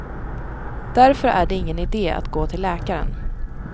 Därför är det ingen idé att gå till läkaren.